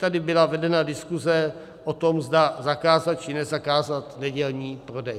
Tady byla vedena diskuse o tom, zda zakázat, či nezakázat nedělní prodej.